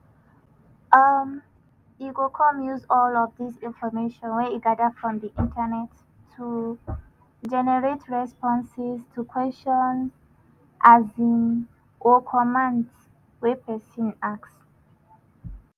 um e go come use all of dis information wey e gada from di internet to "generate" responses to questions um or commands wey pesin ask.